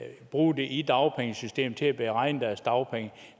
bruge det i dagpengesystemet til at beregne deres dagpenge